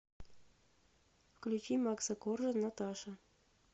включи макса коржа наташа